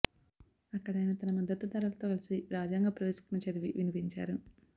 అక్కడ ఆయన తన మద్దతుదారులతో కలిసి రాజ్యాంగ ప్రవేశికను చదివి వినిపించారు